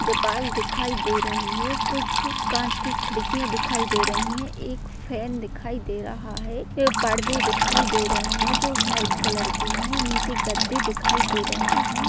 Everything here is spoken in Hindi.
दीवाल दिखाई दे रही है कुछ कांच की खिड़कियां दिखाई दे रही है एक फैन दिखाई दे रहा है एक पर्दे दिखाई दे रहे है जो व्हाइट कलर के है नीचे गद्दे दिखाई दे रहे है।